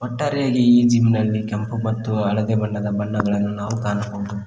ಒಟ್ಟಾರೆಯಾಗಿ ಈ ಜಿಮ್ ನಲ್ಲಿ ಕೆಂಪು ಮತ್ತು ಹಳದಿ ಬಣ್ಣವನ್ನು ನಾವು ಕಾಣಬಹುದು.